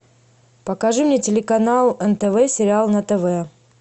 покажи мне телеканал нтв сериал на тв